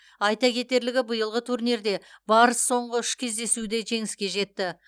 айта кетерлігі биылғы турнирде барыс соңғы үш кездесуде жеңіске жетті